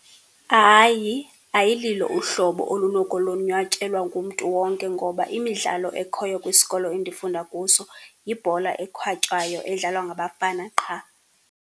Hayi, ayililo uhlobo olunokonwatyelwa ngumntu wonke, ngoba imidlalo ekhoyo kwisikolo endifunda kuso yibhola ekhwatywayo edlalwa ngabafana qha.